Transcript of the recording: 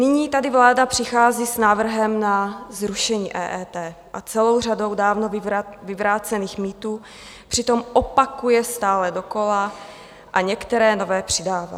Nyní tady vláda přichází s návrhem na zrušení EET a celou řadou dávno vyvrácených mýtů, přitom opakuje stále dokola a některé nové přidává.